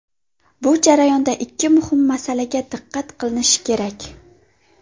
Bu jarayonda ikki muhim masalaga diqqat qilinishi kerak.